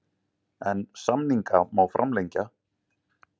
En samninga má framlengja.